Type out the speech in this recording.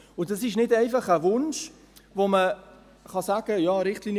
Und das ist nicht einfach ein Wunsch, bei dem man sagen kann: